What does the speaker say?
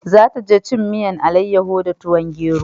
Za ta je cin miyan alayaho da tuwon gero